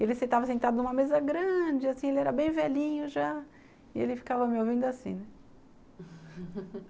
Ele estava sentado em uma mesa grande, ele era bem velhinho já, e ele ficava me ouvindo assim, né,